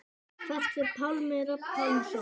Hvert fer Pálmi Rafn Pálmason?